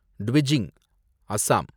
டுவிஜிங், Assam